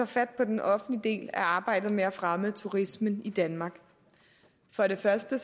fat på den offentlige del af arbejdet med at fremme turismen i danmark for det første